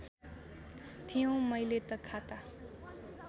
थियो मैले त खाता